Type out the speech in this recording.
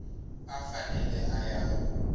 a a fanele a ya